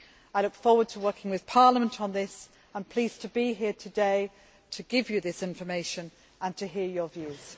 I look forward to working with Parliament on this and am pleased to be here today to give you this information and to hear your views.